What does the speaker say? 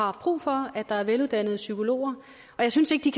har brug for at der er veluddannede psykologer jeg synes ikke de